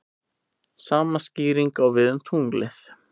Sama skýring á við um tunglið.